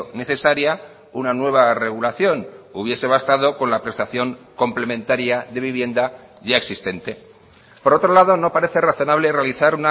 necesaria una nueva regulación hubiese bastado con la prestación complementaria de vivienda ya existente por otro lado no parece razonable realizar